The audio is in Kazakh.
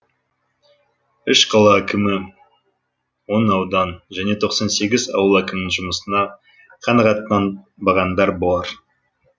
үш қала әкімі он аудан және тоқсан сегіз ауыл әкімінің жұмысына қанағаттанбағандар бар